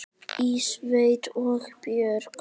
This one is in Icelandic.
Í sveit og borg.